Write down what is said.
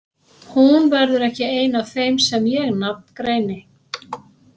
Hún verður ekki ein af þeim sem ég nafngreini.